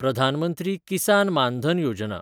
प्रधान मंत्री किसान मान धन योजना